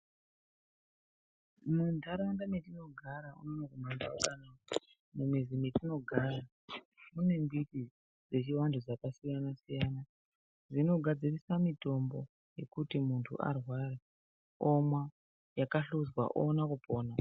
Munharaunda metinogara, mumizi yetinogara mune mbiti dzechivanhu dzakasiyana siyana dzakawanda dzinogadziriswa mitombo dzekuti muntu arwara omwa yakahluzwa oona kupona.